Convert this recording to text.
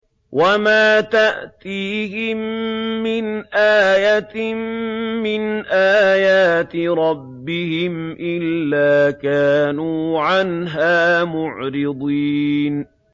وَمَا تَأْتِيهِم مِّنْ آيَةٍ مِّنْ آيَاتِ رَبِّهِمْ إِلَّا كَانُوا عَنْهَا مُعْرِضِينَ